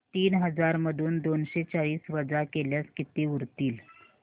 तीन हजार मधून दोनशे चाळीस वजा केल्यास किती उरतील